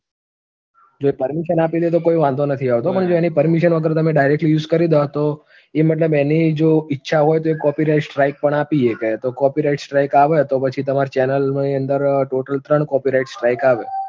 જો permission આપી દે તો કોઈ વાંધો નથી આવતો પણ જો એની permission વગર તમે direct use કરી દો, તો એ મતલબ એની જો ઈચ્છા હોય તો એ copyrights strike પણ આપી શકે તો copyrights strike આવે, તો પછી તમારે channel ની અંદર total ત્રણ copyrights strike આવે.